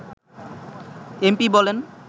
MP বলেন